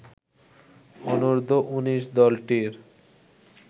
অনূর্ধ্ব ১৯ দলটির